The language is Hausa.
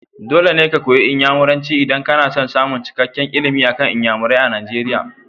Dole ka koyi Inyamuranci idan kana son samun cikakken ilimi akan Inyamurai a Nigeria.